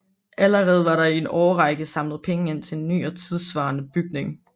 Allerede var der i en årrække samlet penge ind til en ny og tidssvarende bygning